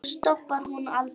Já, stoppar hún aldrei?